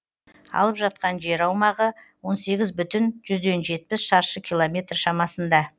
алып жатқан жер аумағы он сегіз бүтін жүзден жетпіс шаршы километр шамасында